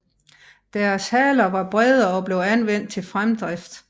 Deres haler var brede og blev anvendt til fremdrift